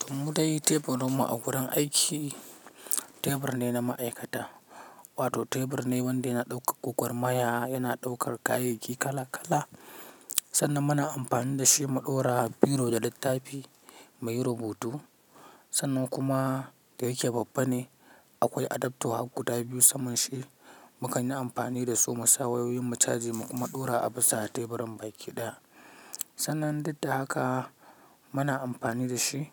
To mu dai teburinmu a gurin aiki, tebur ne na ma'aikata wato tebur ne wanda yana ɗaukar gwagwarmaya, yana ɗaukar kayayyaki kala kala sannan muna amfani da shi mu ɗora biro da littafi muyi rubutu. Sannan kuma da yake babba ne akwai adaptor har guda biyu saman shi, mukan yi amfani da su mu sa wayoyin mu charge mu kuma ɗora a bisa teburin baki ɗaya. Sannan duk da haka muna amfani da shi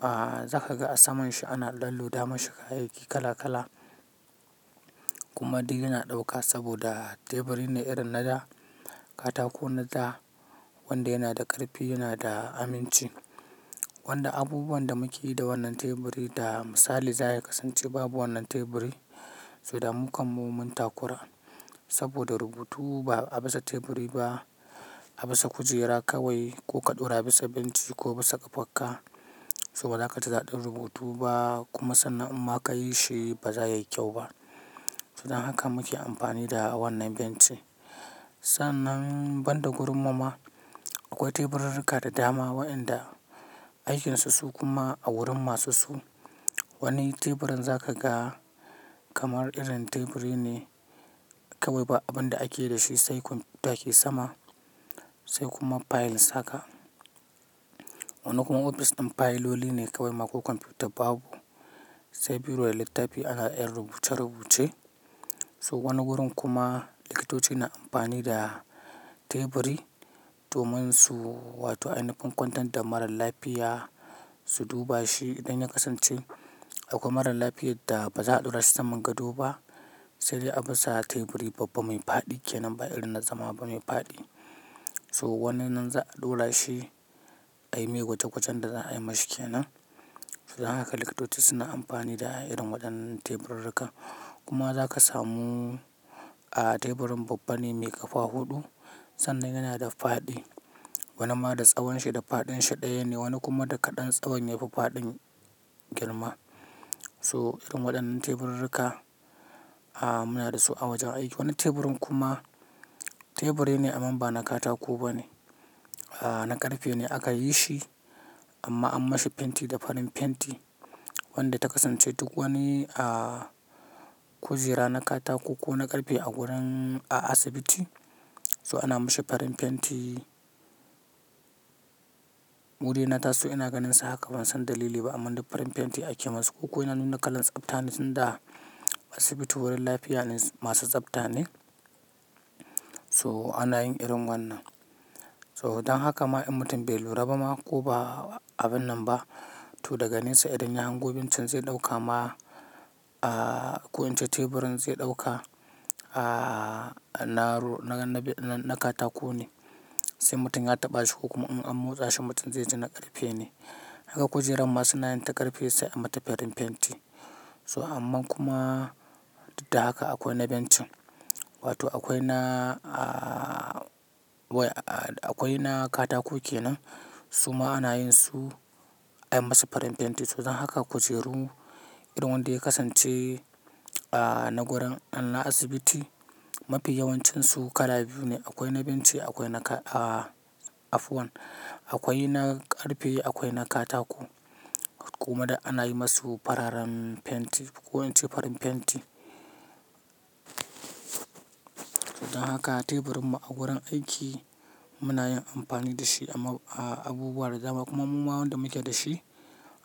ahhh zaka ga a saman shi ana dan loda ma shi kaya kala-kala kuma duk yana dauka saboda teburi ne irin na da katako na da wanda yana da karfi yana da aminci wanda abubuwan da muke yi da wannan teburi da misali za a yi kasance babu wannan teburi, to da mu kanmu mun takura saboda rubutu ba a bisa teburi ba, a bisa kujera kawai ko ka ɗora bisa benci ko bisa ƙafarka, so bazaka ji dadin rubutu ba kuma sannan in ma kayi shi ba za yayi kyau ba. Sannan haka muke amfani da wannan benci. Sannan banda gurin mu ma akwai teburirruka da dama waɗanda aikinsu su kuma a wurin masu su. Wani teburin zakaga kamar irin teburi ne kawai ba abin da ake da shi sai kwamfuta ke sama sai kuma fayil saka. Wani kuma ofis ɗin fayiloli ne kawai ma ko kwamfuta babu sai biro da littafi ana yar rubuce-rubuce. So wani wurin kuma likitoci na amfani da teburi domin su wato ainiyin kwantar da mara lafiya su duba shi idan ya kasance akwai mara lafiyar da baza a daura shi saman gado ba sai dai a barsa a teburi babba mai fadi ba irin na zama ba teburi babba mai fadi. So wannan zan ɗora shi ai mai gwaje gwajen da za a yi mashi kenan. Don haka likitoci suna amfani da irin waɗannan teburirruka kuma zaka samu aaaa teburin babba ne mai ƙafa huɗu sannan yana da faɗi. Wani ma da tsawon shi da faɗin shi ɗaya ne wani kuma da kaɗan tsawon ya fi faɗin girma. So irin waɗannan teburirruka muna da su a wajen aiki. Wani teburin kuma teburi ne amman ba na katako ba ne na ƙarfe ne aka yi shi amma an mashi fenti da farin fenti wanda ta kasance duk wani aaaa kujera na katako ko na ƙarfe a gurin a asibiti so ana mashi farin fenti. Mu dai na ta so ina ganinsa haka ban san dalili ba amman duk farin fenti ake masu ko ko yana nuna kalan tsafta ne tunda asibiti wurin lafiya ne masu tsafta ne so ana yin irin wannan. So don haka ma in mutum bai lura ba ma ko ba abun nan ba to daga nesa idan ya hango bencin zai ɗauka ma aaaa ko in ce teburin zai ɗauka aaaa na ro-- na-na-na katako ne sai mutum ya taɓa shi ko kuma in an motsa shi mutum zai ji na ƙarfe ne. Haka kujerar ma suna yin ta ƙarfe sai an mata farin fenti. So aman kuma duk da haka akwai na bencin wato akwai na aaaa akwai na katako kenan suma ana yin su ai masu farin fenti to dan haka kujeru irin wanda ya kasance aaaa na gurin an na asibiti mafi yawancinsu kala biyu ne akwai na bencin akwai na aaaa afwan, akwai na ƙarfe akwai na katako kuma dik ana yi masu fararen fenti ko in ce farin fenti. Don haka teburinmu a gurin aiki muna yin amfani da shi amma a abubuwa da dama kuma muma wanda muke da shi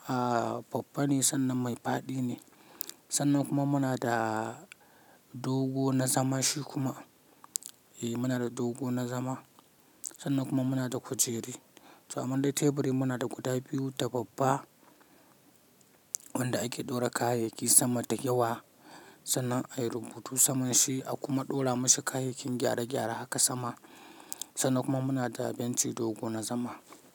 aaaa babba ne sannan mai faɗi ne. Sannan kuma muna da dogo na zama shi kuma eh muna da dogo na zama sannan kuma muna da kujeri. So aman dai teburi muna da guda biyu da babba wanda ake ɗora kayayyaki sama da yawa sannan ayi rubutu saman shi akuma ɗora mashi kayayyakin gyare gyare haka sama sannan kuma muna da bencin dogo na zama.